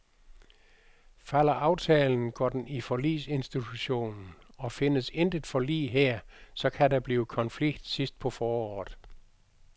Falder aftalen går den i forligsinstitutionen, og findes intet forlig her, så kan der blive konflikt sidst på foråret.